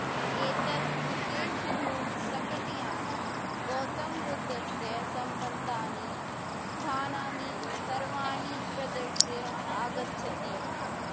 एतत् विशेषधूमशकटयानं गौतमबुद्धस्य सम्बद्धानि स्थानानि सर्वाणि प्रदर्श्य आगच्छति